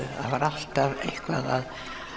það var alltaf eitthvað